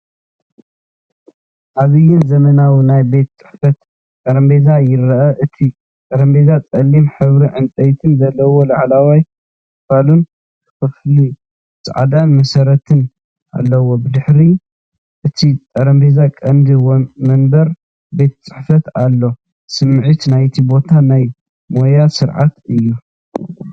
ዓብይን ዘመናውን ናይ ቤት ጽሕፈት ጠረጴዛ ይርአ። እቲ ጠረጴዛ ጸሊም ሕብሪ ዕንጨይቲ ዘለዎ ላዕለዋይ ክፋልን ብኸፊል ጻዕዳ መሰረትን ኣለዎ። ብድሕሪ እቲ ጠረጴዛ ቀንዲ መንበር ቤት ጽሕፈት ኣሎ። ስምዒት ናይቲ ቦታ ናይ ሞያን ስርዓትን እዩ።